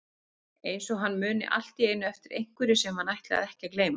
Eins og hann muni allt í einu eftir einhverju sem hann ætlaði ekki að gleyma.